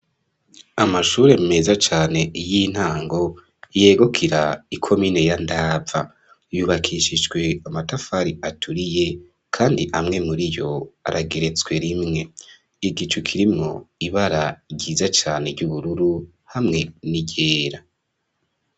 Amashure meza cane y'intango yegukira ikomine ya Ndava, yubakishijwe amatafari aturiye kandi amwe muriyo arageretswe rimwe, igicu kirimwo ibara ryiza cane ry'ubururu hamwe n'igera.